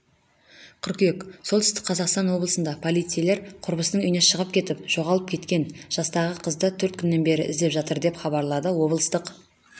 қыркүйек солтүстік қазақстан облысында полицейлер құрбысының үйінен шығып кетіп жоғалып кеткен жастағы қызды төрт күннен бері іздеп жатыр деп хабарлады облыстық